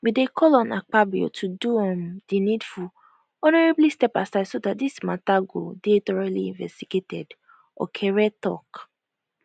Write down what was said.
we dey call on akpabio to do um di needfulhonorably step aside so dat dis matter go dey thoroughly investigated okere tok